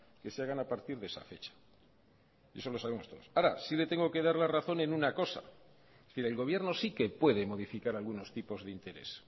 que se hagan a partir de esa fecha eso lo sabemos todos ahora sí le tengo que dar la razón en una cosa es decir el gobierno sí que puede modificar algunos tipos de interés